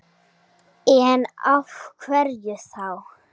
En af hverju þá?